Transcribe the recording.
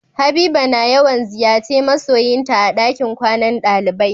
Habiba na yawan ziyace ma'soyin ta a dakin kwanan dalibai.